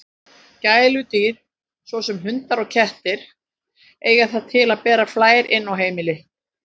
Gæludýr, svo sem hundar og kettir, eiga það til að bera flær inn á heimili.